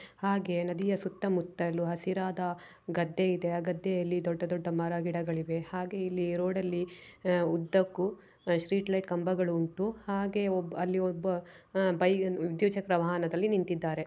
ಹಾಗೆ ನದಿಯ ಸುತ್ತಮುತ್ತಲೂ ಹಸಿರಾದ ಗದ್ದೆ ಇದೆ. ಅಗತ್ಯಲ್ಲಿ ದೊಡ್ಡ ದೊಡ್ಡ ಮರ ಗಿಡಗಳಿವೆ. ಹಾಗೆ ಇಲ್ಲಿ ರೋಡಲ್ಲಿ ಉದ್ದಕ್ಕೂ ಸ್ಟ್ರೀಟ್ ಲೈಟ್ ಕಂಬಗಳು ಉಂಟು. ಹಾಗೆ ಒಬ್ಬಅಲ್ಲಿ ಒಬ್ಬ ಬೈ ವಿದ್ಯುತ್ ಚಕ್ರ ವಾಹನದಲ್ಲಿ ನಿಂತಿದ್ದಾರೆ.